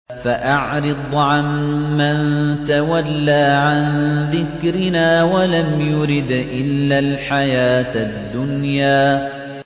فَأَعْرِضْ عَن مَّن تَوَلَّىٰ عَن ذِكْرِنَا وَلَمْ يُرِدْ إِلَّا الْحَيَاةَ الدُّنْيَا